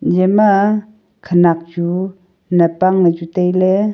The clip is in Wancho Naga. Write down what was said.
eya ma khanak chu nam ang chu tai ley.